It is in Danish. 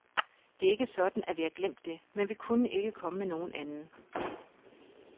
Det er ikke sådan, at vi har glemt det, men vi kunne ikke komme med nogen anden.